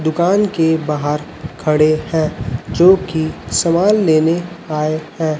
दुकान के बाहर खड़े हैं जो की सामान लेने आए हैं।